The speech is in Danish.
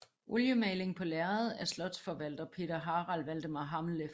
Oliemaling på lærred af slotsforvalter Peter Harald Valdemar Hammeleff